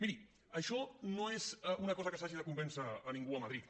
miri això no és una cosa que s’hagi de convèncer a ningú a madrid